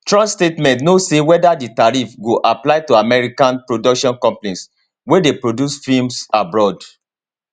trump statement no say weda di tariff go apply to american production companies wey dey produce films abroad